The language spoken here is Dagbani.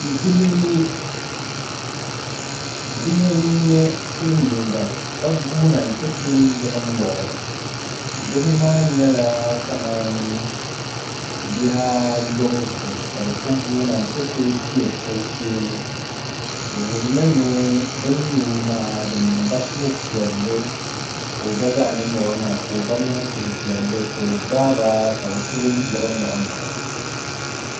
Bihi n nyɛ silmiinga ka guuna n ti kuli yiɣi nyɛɣo bihi maa nyɛla kamani bihi ayobu zuɣu ka bi ku guuna n ti kuli piɛ o sheeni di wuhurimi ni bi ni nyɛo maa di niŋba suhupiɛlli ka o gba niŋ suhupiɛlli ka o gbaaba ka bi kuli yiɣi nyaɣa nyaɣa o